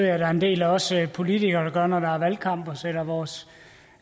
jeg der er en del også politikere der gør når der er valgkamp sætter vores